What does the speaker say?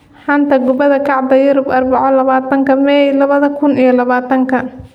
Xanta Kubadda Cagta Yurub Arbaco labatanka mei labada kuun iyo labatanka : Sane, Haaland, Traore, Diaby, Mbuyamba